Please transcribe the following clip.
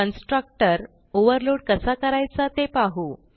constructor overload कसा करायचा ते पाहू